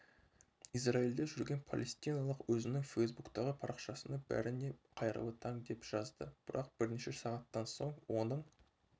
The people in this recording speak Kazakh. израильде жүрген палестиналық өзінің фейсбуктағы парақшасына бәріңе қайырлы таң деп жазды бірақ бірнеше сағаттан соң оның